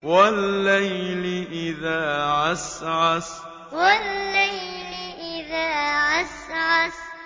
وَاللَّيْلِ إِذَا عَسْعَسَ وَاللَّيْلِ إِذَا عَسْعَسَ